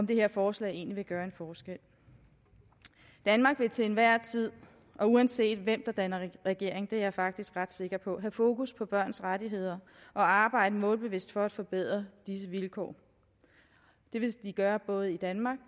det her forslag egentlig vil gøre en forskel danmark vil til enhver tid og uanset hvem der danner regering det er jeg faktisk ret sikker på have fokus på børns rettigheder og arbejde målbevidst for at forbedre deres vilkår det vil vi gøre både i danmark